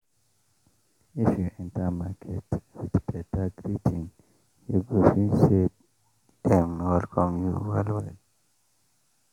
if you enter market with beta greeting you go feel say dem welcome you well well